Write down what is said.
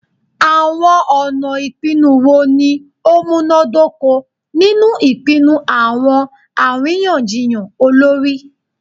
Awọn ọna ipinnu wo ni o munadoko ninu ipinnu awọn ariyanjiyan olori?